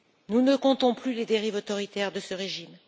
Nous ne comptons plus les dérives autoritaires de ce régime.